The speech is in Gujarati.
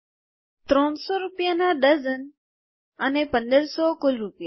૩૦૦ રૂપિયા ના ડઝન અને ૧૫૦૦ કુલ રૂપિયા